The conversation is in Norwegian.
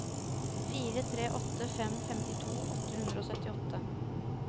fire tre åtte fem femtito åtte hundre og syttiåtte